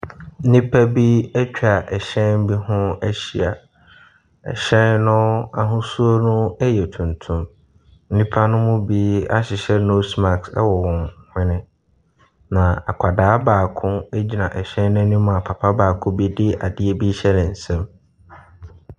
Nnipa bi atwa hyɛn bi ho ahyia. Hyɛn no ahosuo no yɛ tuntum. Nnipa no mu bi ahyehyɛ nose mask wɔ wɔn hwene. Na akwadaa baako gyina hyɛn no anim a papa baako bi adeɛ rehyɛ ne nsam.